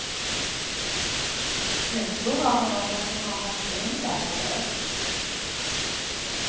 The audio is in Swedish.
Nu surrar hon om att hon har haft änglabesök.